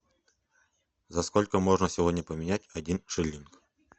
за сколько можно сегодня поменять один шиллинг